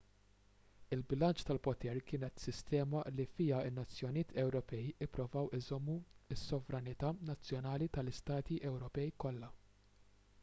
il-bilanċ tal-poter kienet sistema li fiha n-nazzjonijiet ewropej ippruvaw iżommu s-sovranità nazzjonali tal-istati ewropej kollha